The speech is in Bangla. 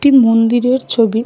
একটি মন্দিরের ছবি ।